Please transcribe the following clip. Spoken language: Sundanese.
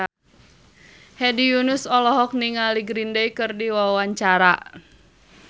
Hedi Yunus olohok ningali Green Day keur diwawancara